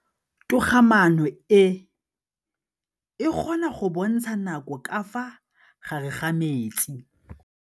Toga-maanô e, e kgona go bontsha nakô ka fa gare ga metsi.